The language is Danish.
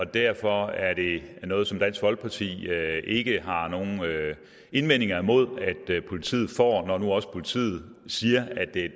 derfor er det noget som dansk folkeparti ikke har nogen indvendinger imod altså at politiet når nu også politiet siger at det